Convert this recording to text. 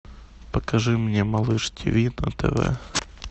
покажи мне малыш тв на тв